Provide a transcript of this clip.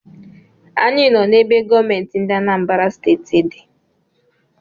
Anyị nọ n’ebe gọọmenti ndị Anambra Steeti di